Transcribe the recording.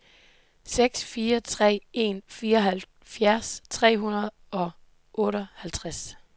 seks fire tre en fireoghalvfjerds tre hundrede og otteoghalvtreds